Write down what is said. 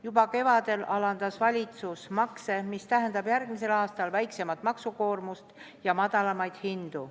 Juba kevadel alandas valitsus makse, mis tähendab järgmisel aastal väiksemat maksukoormust ja madalamaid hindu.